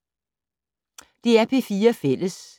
DR P4 Fælles